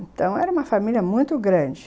Então, era uma família muito grande.